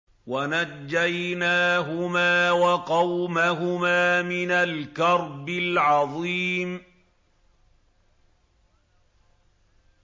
وَنَجَّيْنَاهُمَا وَقَوْمَهُمَا مِنَ الْكَرْبِ الْعَظِيمِ